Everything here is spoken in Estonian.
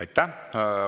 Aitäh!